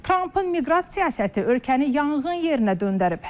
Trampın miqrasiya siyasəti ölkəni yanğın yerinə döndərib.